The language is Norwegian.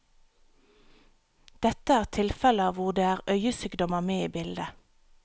Dette er tilfeller hvor det er øyesykdommer med i bildet.